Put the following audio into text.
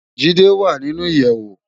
Jide wá ninú iyèwó